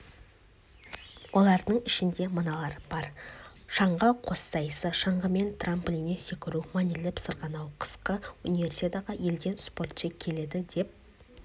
олардың арасында мыналар бар шаңғы қоссайысы шаңғымен трамплинненсекіру мәнерлеп сырғанау қысқы универсиадаға елден спортшы келеді деп